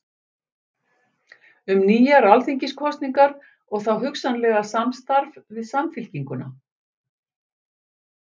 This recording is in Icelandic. Um nýjar alþingiskosningar og þá hugsanlega samstarf við Samfylkinguna?